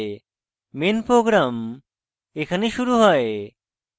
main program এখানে শুরু হয়